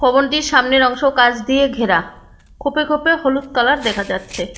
ভবনটির সামনের অংশ কাঁচ দিয়ে ঘেরা খোপে খোপে হলুদ কালার দেখা যায়।